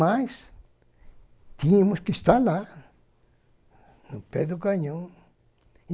Mas, tínhamos que estar lá, no pé do canhão.